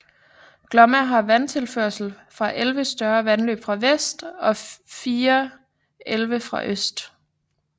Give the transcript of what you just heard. Glomma har vandtilførsel fra 11 større vandløb fra vest og 4 elve fra øst